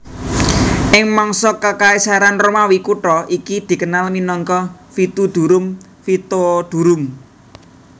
Ing mangsa Kekaisaran Romawi kutha iki dikenal minangka Vitudurum Vitodurum